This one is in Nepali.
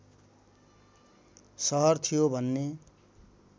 सहर थियो भन्ने